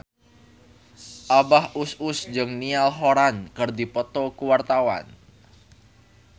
Abah Us Us jeung Niall Horran keur dipoto ku wartawan